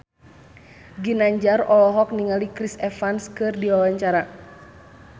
Ginanjar olohok ningali Chris Evans keur diwawancara